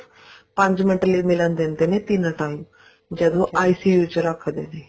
ਪੰਜ ਮਿੰਟ ਲਈ ਮਿਲਣ ਦਿੰਦੇ ਨੇ ਤਿੰਨ time ਜਦੋਂ ICU ਚ ਰੱਖਦੇ ਨੇ